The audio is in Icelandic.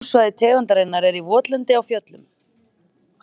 Búsvæði tegundarinnar er í votlendi á fjöllum.